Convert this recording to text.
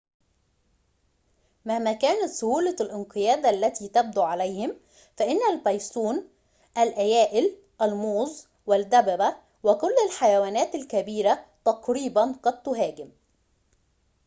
مهما كانت سهولة الانقياد التي تبدو عليهم فإن البيسون الأيائل الموظ والدببة وكل الحيوانات الكبيرة تقريباً قد تهاجم